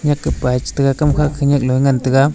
yaka pai pich khamkha kanyak ngantaga.